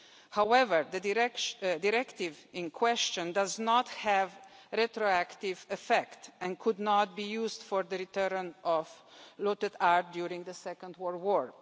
However, the Directive in question does not have retroactive effect and could not be used for the return of looted art during the Second World War.